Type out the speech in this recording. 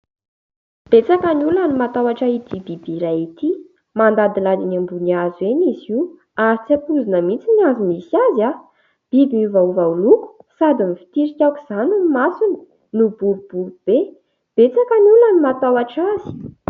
Betsaka ny olona no matahotra ity biby iray ity, mandadilady eny ambony hazo eny izy io ary tsy ampoizina mihitsy ny hazo misy azy a ! Biby niovaova loko sady mivotirika aoka izany ny masony no boribory be ; betsaka ny olona no matahotra azy.